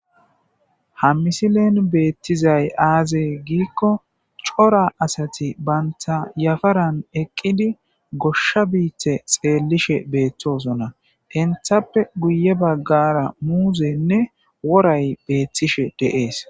ha misilen beettizay aaze giikko cora asati banta yafaran eqqidi goshsha biita xeellishe beettoosonna henthappe guye baggara muuzenne woray beettishe deees